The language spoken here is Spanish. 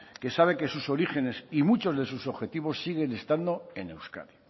que sabe que sus orígenes y muchos de sus objetivos siguen estando en euskadi